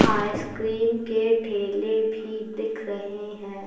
Ice cream के ठेले भी दिख रहे है।